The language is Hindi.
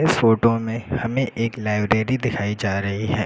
इस फोटो में हमें एक लाइब्रेरी दिखाई जा रही है।